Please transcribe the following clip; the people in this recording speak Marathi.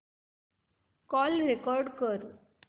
कॉल रेकॉर्ड कर